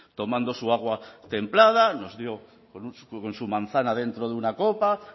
tomando su agua templada nos dio con su manzana dentro de una copa con